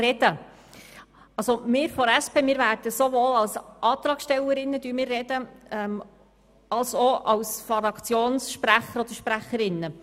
Wir von der SP sprechen sowohl als Antragstellerinnen als auch als Fraktionssprecher oder -sprecherinnen.